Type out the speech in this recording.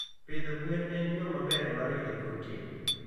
Pidho gwen en yo maber mar yudo protein.